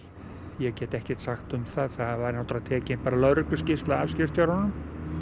ég get ekkert sagt um það það var tekin lögregluskýrsla af skipstjóranum